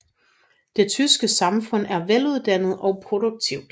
Det tyske samfund er veluddannet og produktivt